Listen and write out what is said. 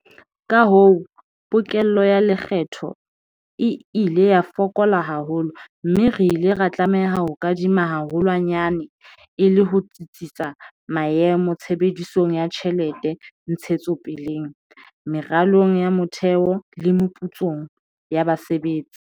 Kahoo, pokello ya lekgetho e ile ya fokola haholo mme re ile ra tlameha ho kadima haholwanyane e le ho tsitsisa maemo tshebedisong ya tjhelete ntshetsopeleng, meralong ya motheo le meputsong ya basebetsi.